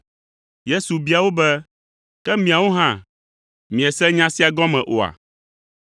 Yesu bia wo be, “Ke miawo hã, miese nya sia gɔme oa?